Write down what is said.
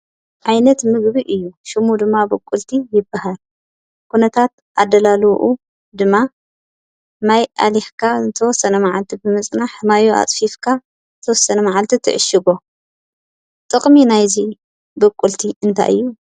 ዓይነት ምግቢ እዩ:: ሽሙ ድማ ብቁልቲ ይበሃል ኩነታት ኣደላልውኡ ድማ ማይ ኣሊኽካ ንዝተወሰነ መዓልቲ ብምፅናሕ ማዩ ኣፅፊፍካ ንዝተወሰኑ መዓልቲ ትዕሽጎ። ጥቕሚ ናይ'ዚ ብቁልቲ እንታይ እዩ